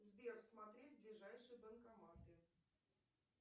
сбер смотреть ближайшие банкоматы